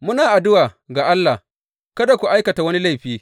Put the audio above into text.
Muna addu’a ga Allah kada ku aikata wani laifi.